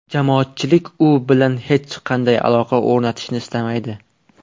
Jamoatchilik u bilan hech qanday aloqa o‘rnatishni istamaydi.